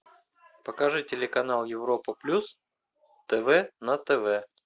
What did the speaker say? покажи телеканал европа плюс тв на тв